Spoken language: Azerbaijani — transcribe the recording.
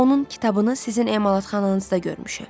Onun kitabını sizin emalatxananızda görmüşəm.